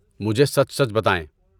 مجھے سچ سچ بتائیں۔